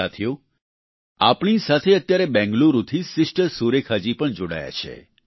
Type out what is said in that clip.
સાથીઓ આપણી સાથે અત્યારે બેંગલુરુથી સિસ્ટર સુરેખા જી પણ જોડાયા છે